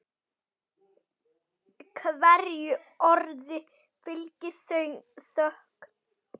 Hverju orði fylgir þögn.